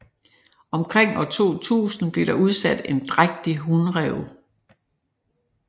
Omkring år 2000 blev der udsat en drægtig hunræv